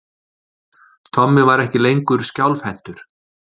Tommi var ekki lengur skjálfhentur.